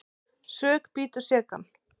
Sök bítur sekan.